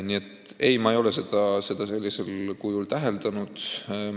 Nii et ei, ma ei ole seda sellisel kujul täheldanud.